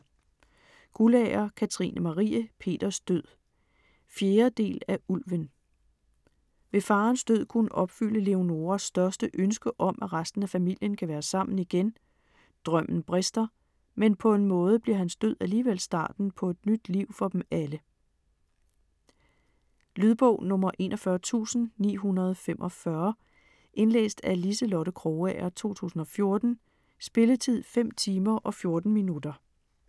Guldager, Katrine Marie: Peters død 4. del af Ulven. Vil faderens død kunne opfylde Leonoras største ønske om, at resten af familien kan være sammen igen? Drømmen brister, men på en måde bliver hans død alligevel starten på et nyt liv for dem alle. Lydbog 41945 Indlæst af Liselotte Krogager, 2014. Spilletid: 5 timer, 14 minutter.